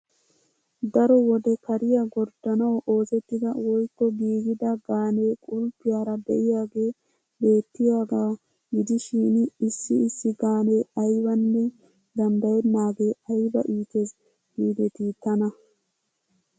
Daro wode kariya gorddanawu oosettida woykko giigida gaanee qulppiyara de'iyagee beettiyagaa gidishin issi issi gaanee aybanne. dandddayennaagee ayba itees giidetii tana!